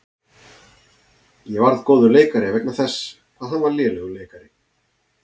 Ég varð góður leikari vegna þess hvað hann var lélegur leikari.